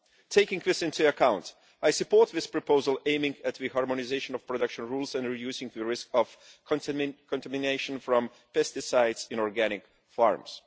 Taking this into account, I support this proposal aiming at the harmonisation of production rules and reducing the risk of contamination from pesticides in organic farms.